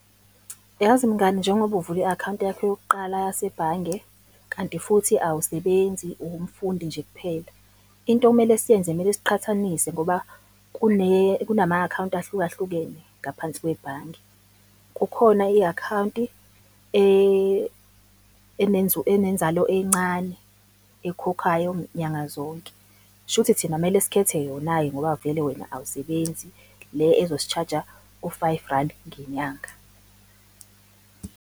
Yazi mngani, njengoba uvula i-account yakho yokuqala yasebhange, kanti futhi awusebenzi uwumfundi nje kuphela. Into okumele siyenze kumele siqhathanisa ngoba kunama-account ahluka hlukene ngaphansi kwebhange. Kukhona i-account-i enenzalo encane, ekhokhayo nyanga zonke, shuthi thina kumele sikhethe yona-ke ngoba vele wena awusebenzi le ezisi-charge-a u-five rand ngenyanga.